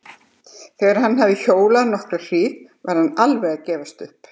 Þegar hann hafði hjólað nokkra hríð var hann alveg að gefast upp.